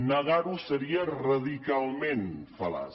negar ho seria radicalment fal·laç